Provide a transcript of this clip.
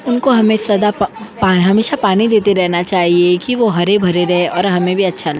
उनको हमें सदा प्-पा हमेशा पानी देते रहना चाहिए की वो हरे-भरे रहे और हमे भी अच्छा --